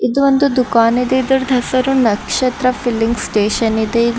ಇದು ಒಂದು ದುಖಾನ ಇದೆ ಇದರದ್ ಹೆಸರು ನಕ್ಷತ್ರ ಫಿಲ್ಲಿಂಗ್ ಸ್ಟೇಷನ್ ಇದೆ ಇಲ್ಲಿ --